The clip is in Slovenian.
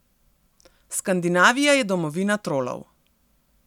Skandinavija je domovina trolov.